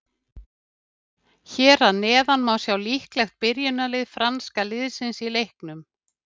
Hér að neðan má sjá líklegt byrjunarlið franska liðsins í leiknum.